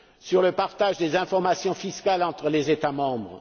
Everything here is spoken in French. sur le partage des informations fiscales entre les États membres